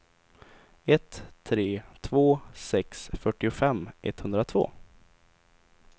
ett tre två sex fyrtiofem etthundratvå